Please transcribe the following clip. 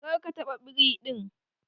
Kar ka taɓa biri din!